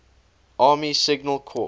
army signal corps